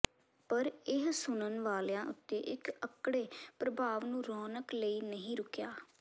ਪਰ ਇਹ ਸੁਣਨ ਵਾਲਿਆਂ ਉੱਤੇ ਇੱਕ ਅਕੜੇ ਪ੍ਰਭਾਵ ਨੂੰ ਰੋਕਣ ਲਈ ਨਹੀਂ ਰੁਕਿਆ